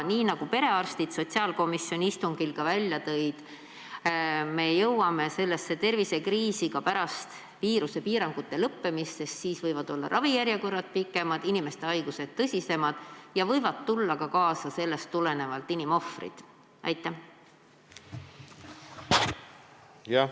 Nagu perearstid sotsiaalkomisjoni istungil rääkisid, jõuame me tervisekriisi ka pärast viirusepiirangute lõppemist, sest siis võivad olla ravijärjekorrad pikemad, inimeste haigused tõsisemad ja seetõttu võib tulla ka inimohvreid.